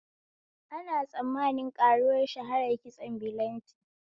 Ana tsammanin ƙaruwar shaharar kitson bilanti